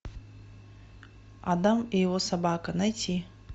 адам и его собака найти